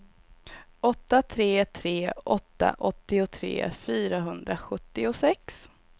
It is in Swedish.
åtta tre tre åtta åttiotre fyrahundrasjuttiosex